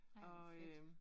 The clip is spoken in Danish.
Ej hvor fedt